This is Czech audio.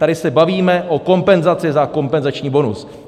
Tady se bavíme o kompenzaci za kompenzační bonus.